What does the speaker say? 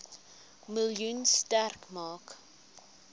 miljoen sterk maak